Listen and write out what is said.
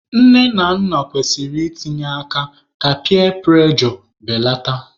Nne na nna kwesịrị i tinye aka ka piya prụrejọ beleta.